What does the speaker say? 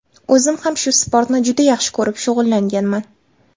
O‘zim ham bu sportni juda yaxshi ko‘rib shug‘ullanganman.